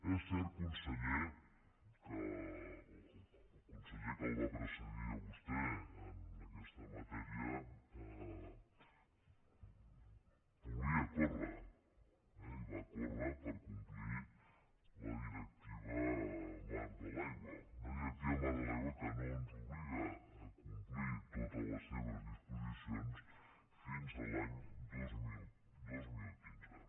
és cert conseller que el conseller que el va precedir a vostè en aquesta matèria volia córrer i va córrer per complir la directiva marc de l’aigua una directiva marc de l’aigua que no ens obliga a complir totes les seves disposicions fins a l’any dos mil quinze